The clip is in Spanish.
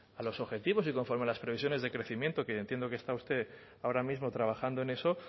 a los objetivos y conforme a las previsiones de crecimiento que entiendo que está usted ahora mismo trabajando en eso